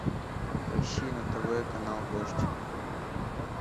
поищи на тв канал дождь